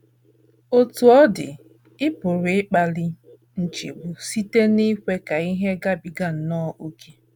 Otú ọ dị, ị pụrụ ịkpali nchegbu site n’ikwe ka ihe gabiga nnọọ ókè.